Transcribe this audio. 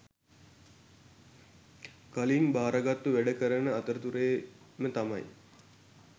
කලින් භාරගත්තු වැඩ කරන අතරතුරේම තමයි